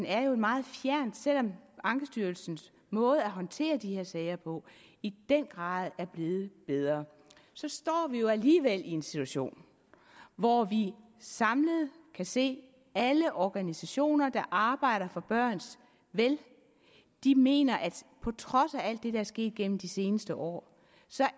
er meget fjern selv om ankestyrelsens måde at håndtere de her sager på i den grad er blevet bedre står vi alligevel i en situation hvor vi samlet kan se at alle organisationer der arbejder for børns vel mener at på trods af alt det der er sket gennem de seneste år